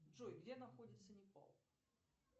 джой где находится непал